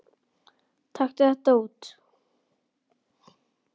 Taktu þetta út